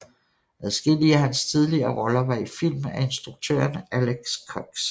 Adskillige af hans tidligere roller var i film af instruktøren Alex Cox